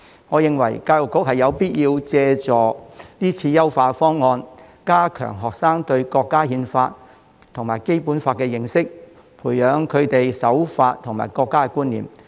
我認為教育局有必要借助這次辯論優化方案，加強學生對國家憲法和《基本法》的認識，培養他們對守法和國家的觀念。